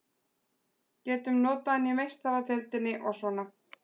Getum notað hann í Meistaradeildinni og svona.